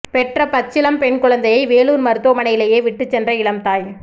பெற்ற பச்சிளம் பெண் குழந்தையை வேலூர் மருத்துவமனையிலேயே விட்டு சென்ற இளம்தாய்